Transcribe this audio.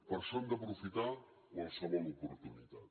per això hem d’aprofitar qualsevol oportunitat